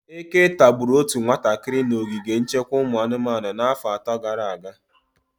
Eke tagburu otu nwatakịrị na ogige nchekwa ụmụ anụmanụ n'afọ atọ gara aga.